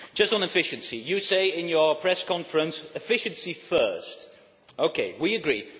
Just on efficiency you say in your press conference, efficiency first. OK, we agree.